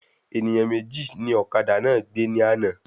Ènìyàn méjì ní ọ̀kadà náà gbé ní àna